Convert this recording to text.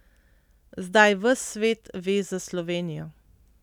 Zdaj ves svet ve za Slovenijo.